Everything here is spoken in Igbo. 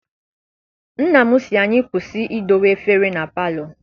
Nna m si anyị kwụsị I dowe efere na palọ.